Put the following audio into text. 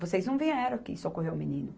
Vocês não vieram aqui socorrer o menino.